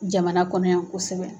Jamana kɔnɔ yan kosɛbɛ.